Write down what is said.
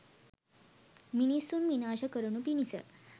මිනිසුන් විනාශ කරනු පිණිස